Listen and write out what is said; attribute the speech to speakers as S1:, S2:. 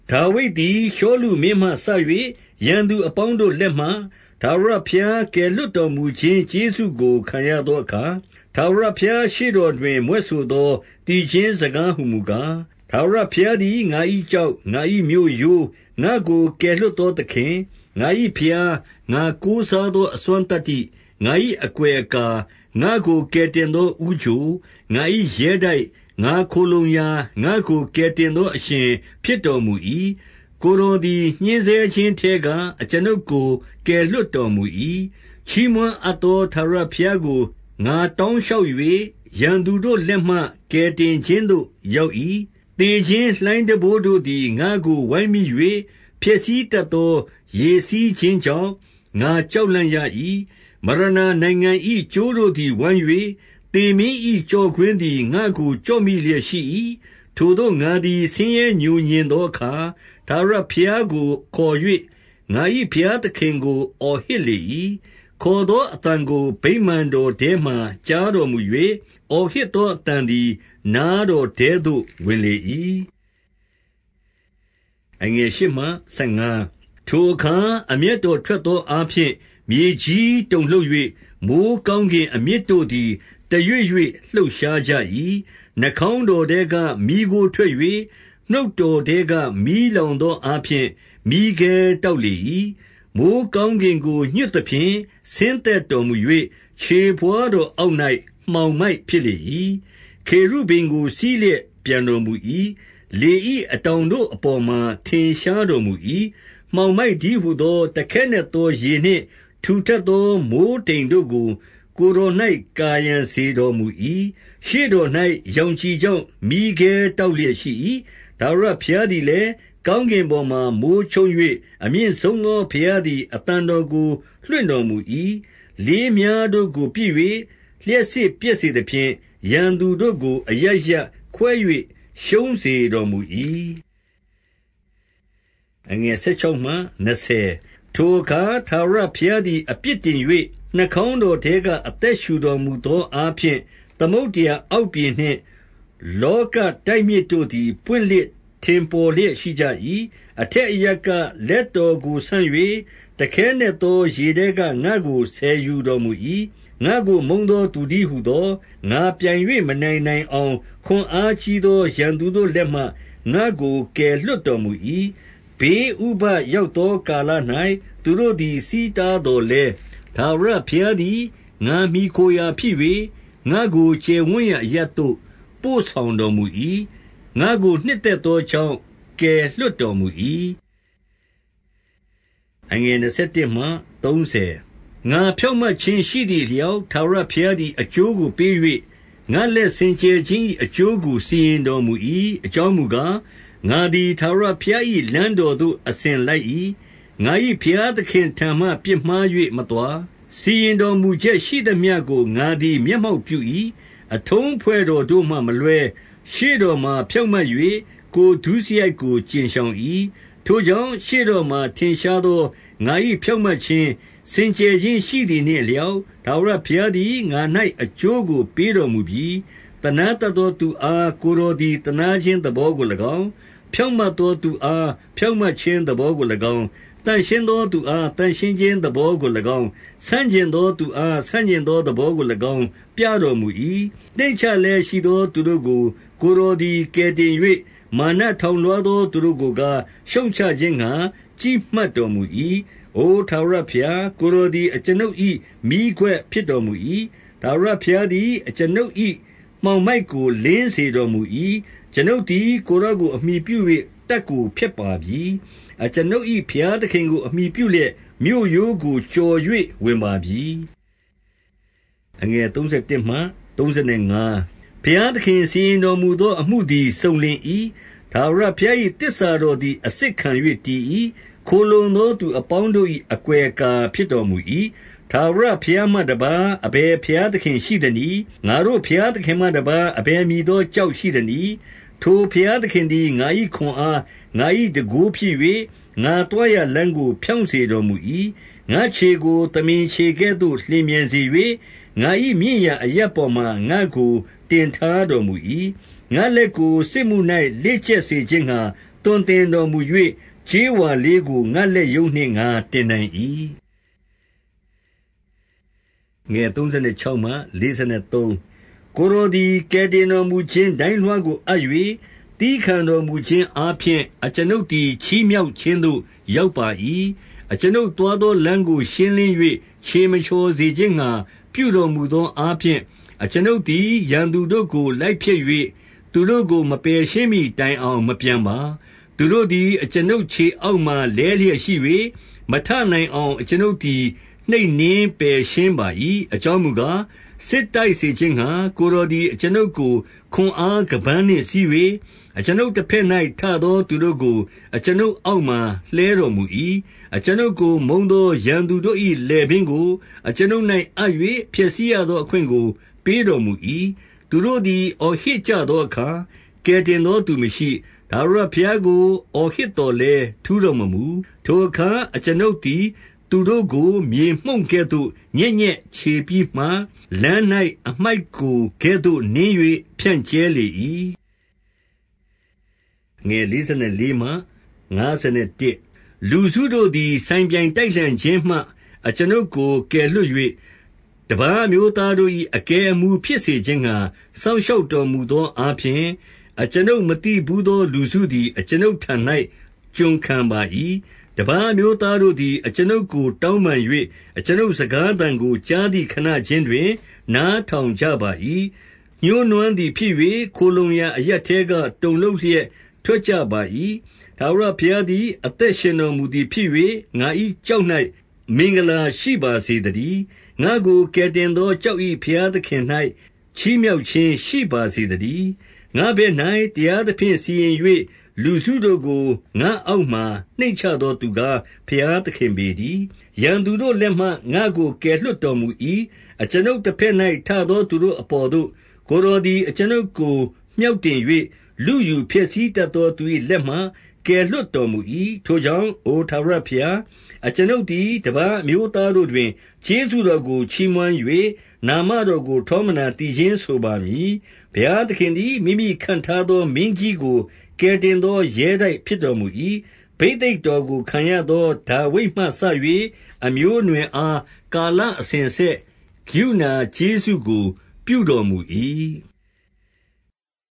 S1: ဒါဝိဒ်သည် ရှောလုမင်းမှစ၍ ရန်သူအပေါင်းတို့ လက်မှ ထာဝရဘုရားကယ်လွှတ်တော်မူခြင်းကျေးဇူးကို ခံရသောအခါ၊ ထာဝရဘုရားရှေ့တော်တွင် မြွက်ဆိုသော သီချင်းစကားဟူမူကား၊ 2 ထာဝရဘုရားသည်ငါ၏ကျောက်၊ ငါ၏မြို့ရိုး၊ ငါ့ကို ကယ်လွှတ်သော သခင်၊ 3 ငါ၏ဘုရား၊ ငါကိုးစားသော အစွမ်းသတ္တိ၊ ငါ၏အကွယ်အကာ၊ ငါ့ကိုကယ်တင်သောဦးချို၊ ငါ၏ ရဲတိုက်၊ ငါခိုလှုံရာ၊ ငါ့ကိုကယ်တင်သော အရှင်ဖြစ်တော်မူ၏။ ကိုယ်တော်သည် ညှဉ်းဆဲခြင်းထဲက အကျွန်ုပ်ကို ကယ်လွှတ်တော်မူ၏။ 4 ချီးမွမ်းအပ်သော ထာဝရဘုရားကို ငါတောင်းလျှောက်၍၊ ရန်သူတို့လက်မှ ကယ်တင်ခြင်းသို့ ရောက်၏။ 5 သေခြင်းလှိုင်းတံပိုးတို့သည် ငါ့ကို ဝိုင်းမိ၍ ဖျက်ဆီးတတ်သော ရေစီးခြင်းကြောင့် ငါကြောက်လန့် ရ၏။ 6 မရဏာနိုင်ငံ၏ ကြိုးတို့သည် ဝိုင်း၍ သေမင်း၏ ကျော့ကွင်းသည် ငါ့ကို ကျော့မိလျက် ရှိ၏။ 7 ထိုသို့ငါသည် ဆင်းရဲငြိုငြင်သောအခါ၊ ထာဝရဘုရားကို ခေါ်၍ ငါ၏ဘုရားသခင်ကို အော်ဟစ်လေ၏။ ခေါ်သောအသံကို ဗိမာန်တော်ထဲ မှာကြားတော်မူ၍၊ အော်ဟစ်သောအသံသည် နားတော်ထဲသို့ ဝင်လေ၏။ 8 ထိုအခါ အမျက်တော်ထွက်သောအားဖြင့် မြေကြီးတုန်လှုပ်၍၊ မိုဃ်းကောင်းကင်အမြစ်တို့သည် တရွေ့ရွေ့လှုပ်ရှားကြ၏။ 9 နှာခေါင်းတော်ထဲက မီးခိုးထွက်၍၊ နှုတ်တော်ထဲက မီးလောင်သောအားဖြင့် မီးခဲတောက်လေ၏။ 10 မိုဃ်းကောင်းကင်ကိုညွှတ်သဖြင့် ဆင်းသက်တော်မူ၍၊ ခြေဘဝါးတော်အောက်၌ မှောင်မိုက်ဖြစ် လေ၏။ 11 ခေရုဗိမ်ကို စီးလျက်ပျံတော်မူ၏။ လေ၏ အတောင်တို့အပေါ်မှာ ထင်ရှားတော်မူ၏။ 12 မှောင်မိုက်တည်းဟူသော တခဲနက်သော ရေနှင့် ထူထပ်သောမိုဃ်းတိမ်တို့ကို ကိုယ်တော်၌ ကာရံစေတော်မူ၏။ 13 ရှေ့တော်၌ ရောင်ခြည်ကြောင့် မီးခဲတောက်လျက် ရှိ၏။ 14 ထာဝရဘုရားသည်လည်း၊ ကောင်းကင်ပေါ်မှာမိုဃ်းချုန်း၍၊ အမြင့်ဆုံးသော ဘုရားသည် အသံတော်ကို လွှင့်တော်မူ၏။ 15 လေးမြှားတို့ကိုပစ်၍ လျှပ်စစ်ပြက်စေသဖြင့်၊ ရန်သတို့ကို အရပ်ရပ်သို့ ခွဲ၍ ရှုံးစေတော်မူ၏။ 16 ထိုအခါ ထာဝရဘုရားသည် အပြစ်တင်၍၊ နှာခေါင်းတော်ထဲက အသက်ရှုတော်မူသောအားဖြင့် သမုဒ္ဒရာအောက်ပြင်နှင့် လောကတိုက်မြစ်တို့သည် ဖွင့်လှစ်ထင်ပေါ်လျက် ရှိကြ၏။ 17 အထက်အရပ်က လက်တော်ကိုဆန့်၍၊ တခဲနက်သော ရေထဲက ငါ့ကို ဆယ်ယူတော်မူ၏။ 18 ငါ့ကိုမုန်းသော သူတည်းဟူသော ငါပြိုင်၍ မနိုင်နိုင်အောင် ခွန်အားကြီးသော ရန်သူတို့လက်မှ ငါ့ကို ကယ်လွှတ်တော်မူ၏။ 19 ဘေးဥပဒ်ရောက်သောကာလ၌ သူတို့သည် ဆီးထားသော်လည်း၊ ထာဝရဘုရားသည် ငါမှီခိုရာ ဖြစ်၍၊ 20 ငါ့ကိုကျယ်ဝန်းရာအရပ်သို့ ပို့ဆောင်တော်မူ၏။ ငါ့ကိုနှစ်သက်သောကြောင့် ကယ်လွှတ်တော်မူ၏။ 21 ငါဖြောင့်မတ်ခြင်းရှိသည်အလျောက် ထာဝရဘုရားသည် အကျိုးကိုပေး၍၊ ငါ့လက်စင်ကြယ်ခြင်း၏ အကျိုးကို စီရင်တော်မူ၏။ 22 အကြောင်းမူကား၊ ငါသည်ထာဝရဘုရား၏ လမ်းတော်သို့အစဉ်လိုက်၏။ ငါ၏ဘုရားသခင့်ထံမှ ပြစ်မှား၍ မသွား။ 23 စီရင်တော်မူချက်ရှိသမျှကို ငါသည် မျက်မှောက်ပြု၏။ အထုံးအဖွဲ့တော်တို့မှမလွှဲ။ 24 ရှေ့တော်မှာဖြောင့်မတ်၍ ကိုယ်ဒုစရိုက်ကို ကြဉ်ရှောင်၏ ။ 25 ထိုကြောင့်ရှေ့တော်မှာ ထင်ရှားသော ငါ၏ဖြောင့်မတ်ခြင်း၊ စင်ကြယ်ခြင်းရှိသည်နှင့်အလျောက် ထာဝရဘုရားသည် ငါ၌အကျိုးကို ပေးတော်မူပြီ။ 26 သနားတတ်သောသူအား ကိုယ်တော်သည်သနားခြင်းသဘောကို၎င်း၊ ဖြောင့်မတ်သောသူအား ဖြောင့်မတ်ခြင်းသဘောကို၎င်း၊ 27 သန့်ရှင်းသောသူအား သန့်ရှင်းခြင်းသဘောကို ၎င်း၊ ဆန့်ကျင်သောသူအား ဆန့်ကျင်သော သဘောကို ၎င်း ပြတော်မူ၏။ 28 နှိမ့်ချလျက်ရှိသောသူတို့ကို ကိုယ်တော်သည် ကယ်တင်၍၊ မာနထောင်လွှားသော သူတို့ကို ကားရှုတ်ချ ခြင်းငှါ ကြည့်မှတ်တော်မူ၏။ 29 အိုထာဝရဘုရား၊ ကိုယ်တော်သည် အကျွန်ုပ်၏ မီးခွက်ဖြစ်တော်မူ၏။ ထာဝရဘုရားသည် အကျွန်ုပ်၏ မှောင်မိုက်ကို လင်းစေတော်မူ၏။ 30 အကျွန်ုပ်သည်ကိုယ်တော်ကို အမှီပြု၍ တပ်ကို ဖျက်ပါပြီ။ အကျွန်ုပ်၏ဘုရားသခင်ကို အမှီပြုလျက် မြို့ရိုးကို ကျော်၍ဝါပပြီ။ 31 ဘုရားသခင်စီရင်တော်မူသော အမှုသည် စုံလင်၏။ ထာဝရဘုရား၏ သစ္စာတော်သည် အစစ်ခံ၍ တည်၏။ ခိုလှုံသောသူအပေါင်းတို့၏ အကွယ်အကာ ဖြစ်တော်မူ၏။ 32 ထာဝရဘုရားမှတပါး အဘယ်ဘုရားသခင် ရှိသနည်း။ ငါတို့ ဘုရားသခင်မှ တပါးအဘယ်မည်သော ကျောက်ရှိသနည်း။ 33 ထိုဘုရားသခင်သည် ငါ၏ခွန်အား၊ ငါ၏တန်ခိုး ဖြစ်၍ ငါသွားရာလမ်းကို ဖြောင့်စေတော်မူ၏။ 34 ငါ့ခြေကိုသမင်ခြေကဲ့သို့ လျင်မြန်စေ၍၊ ငါ၏ မြင့်ရာအရပ်ပေါ်မှာ ငါ့ကိုတင်ထားတော်မူ၏။ 35 ငါ့လက်ကို စစ်မှု၌ လေ့ကျက်စေခြင်းငှါ သွန် သင်တော်မူ၍၊ ကြေးဝါလေးကို ငါ့လက်ရုံးနှင့် ငါတင်နိုင် ၏။ 36 ကိုယ်တော်သည် ကယ်တင်တော်မူခြင်း ဒိုင်းလွှားကိုအပ်၍၊ သည်းခံတော်မူခြင်းအားဖြင့်အကျွန်ုပ်သည် ချီးမြှောက်ခြင်းသို့ ရောက်ပါ၏။ 37 အကျွန်ုပ်သွားသော လမ်းကို ရှင်းလင်း၍ ခြေ မချော်စေခြင်းငှါ ပြုတော်မူသောအားဖြင့်၊ 38 အကျွန်ုပ်သည် ရန်သူတို့ကို လိုက်ဖျက်၍၊ သူတို့ကို မပယ်ရှင်းမှီ တိုင်အောင်မပြန်ပါ။ 39 သူတို့သည် အကျွန်ုပ် ခြေအောက်မှာ လဲလျက်ရှိ၍၊ မထနိုင်အောင် အကျွန်ုပ်သည် နှိပ်နင်းပယ်ရှင်း ပါ၏။ 40 အကြောင်းမူကား၊ စစ်တိုက်စေခြင်းငှါ ကိုယ်တော်သည် အကျွန်ုပ်ကို ခွန်အားခါးပန်းနှင့်စည်း၍၊ အကျွန်ုပ်တဘက်၌ ထသောသူတို့ကို အကျွန်ုပ်အောက်မှာ လှဲတော်မူ၏။ 41 အကျွန်ုပ်ကို မုန်းသော ရန်သူတို့၏လည်ပင်းကို အကျွန်ုပ်၌အပ်၍ ဖျက်ဆီးရသော အခွင့်ကို ပေးတော် မူ၏။ 42 သူတို့သည် အော်ဟစ်ကြသောအခါ ကယ်တင်သော သူမရှိ။ ထာဝရဘုရားကို အော်ဟစ်သော်လည်း ထူးတော်မမူ။ 43 ထိုအခါအကျွန်ုပ်သည်သူတို့ကို မြေမှုန့်ကိုကဲ့သို့ ညက်ညက်ချေပြီးမှ၊ လမ်း၌ အမှိုက်ကိုကဲ့သို့နင်း၍ ဖြန့်ကြဲ လေ၏။ 44 လူစုတို့သည် ဆိုင်ပြိုင်တိုက်လှန်ခြင်းမှ အကျွန်ုပ်ကို ကယ်လွှတ်၍၊ တပါးအမျိုးသားတို့၏ အကဲအမှူး ဖြစ်စေခြင်းငှါ စောင့်ရှောက်တော်မူသောအားဖြင့်၊ အကျွန်ုပ်မသိဘူးသော လူစုသည် အကျွန်ုပ်ထံ၌ ကျွန်ခံ ပါ၏။ 45 တပါးအမျိုးသားတို့သည် အကျွန်ုပ်ကို တောင်းပန်၍ အကျွန်ုပ်စကားသံကိုကြားသည် ခဏခြင်းတွင် နားထောင်ကြပါ၏။ 46 ညှိုးနွမ်းသည်ဖြစ်၍ ခိုလှုံရာအရပ်ထဲက တုန်လှုပ်လျက် ထွက်ကြပါ၏။ 47 ထာဝရဘုရားသည် အသက်ရှင်တော်မူသည် ဖြစ်၍ ငါ၏ကျောက်၌ မင်္ဂလာရှိပါစေသတည်း။ ငါ့ကို ကယ်တင်သော ကျောက်၏ဘုရားသခင်၌ ချီးမြှောက်ခြင်း ရှိပါစေသတည်း။ 48 ငါ့ဘက်၌ တရားသဖြင့်စီရင်၍၊ လူစုတို့ကို ငါ့အောက်မှာနှိမ့်ချသော သူကား ဘုရားသခင်ပေတည်း။ 49 ရန်သူတို့လက်မှ ငါ့ကိုကယ်လွှတ်တော်မူ၏။ အကျွန်ုပ်တဘက်၌ထသော သူတို့အပေါ်သို့ ကိုယ်တော် သည် အကျွန်ုပ်ကို မြှောက်တင်၍၊ လုယူဖျက်ဆီးတတ်သော သူ၏လက်မှ ကယ်လွှတ်တော်မူ၏။ 50 ထိုကြောင့် အိုထာဝရဘုရား၊ အကျွန်ုပ်သည် တပါးအမျိုးသားတို့တွင် ကျေးဇူးတော်ကို ချီးမွမ်း၍ နာမ တော်ကို ထောမနာသီချင်းဆိုပါမည်။ 51 ဘုရားသခင်သည် မိမိခန့်ထားသောမင်းကြီးကို ကယ်တင်သော ရဲတိုက်ဖြစ်တော်မူ၏။ ဘိသိက်တော်ကို ခံရသောဒါဝိဒ်မှစ၍ အမျိုးအနွယ်အား၊ ကာလအစဉ်အဆက် ကရုဏာကျေးဇူးကို ပြုတော်မူ၏။